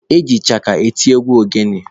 Eji ịchaka eti egwu ogene.